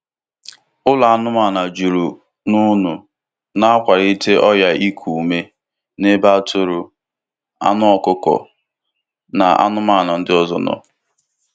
Ụlọ anụmanụ juru n'únu na-akwalite ọrịa iku ume n’ebe atụrụ, anụ ọkụkọ na anụmanụ ndị ọzọ nọ.